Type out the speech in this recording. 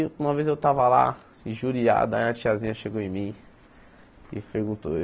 E, uma vez eu estava lá, injuriado, aí a tiazinha chegou em mim e perguntou.